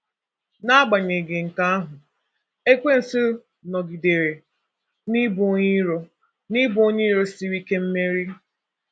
N’agbanyeghị nke ahụ, Ekwensu nọgidere n'ịbụ onye iro n'ịbụ onye iro siri ike mmeri.